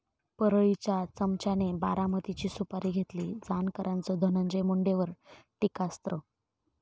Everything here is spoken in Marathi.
परळी'च्या चमच्याने 'बारामती'ची सुपारी घेतली, जानकरांचं धनंजय मुंडेंवर टीकास्त्र